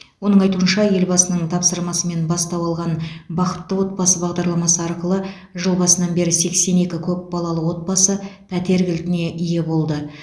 оның айтуынша елбасының тапсырмасымен бастау алған бақытты отбасы бағдарламасы арқылы жыл басынан бері сексен екі көпбалалы отбасы пәтер кілтіне ие болды